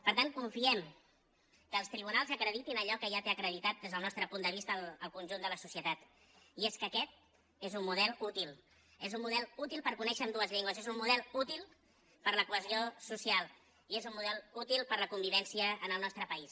per tant confiem que els tribunals acreditin allò que ja té acreditat des del nostre punt de vista el conjunt de la societat i és que aquest és un model útil és un model útil per conèixer ambdues llengües és un model útil per a la cohesió social i és un model útil per a la convivència en el nostre país